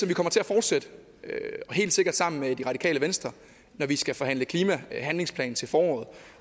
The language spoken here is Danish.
vi kommer til at fortsætte og helt sikkert sammen med det radikale venstre når vi skal forhandle klimahandlingsplan til foråret